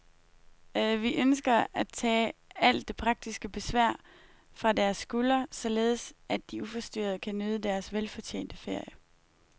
Vi ønsker at tage alt det praktiske besvær fra deres skuldre, således at de uforstyrret kan nyde deres velfortjente ferie.